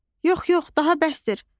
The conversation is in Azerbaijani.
Yox, yox, daha bəsdir.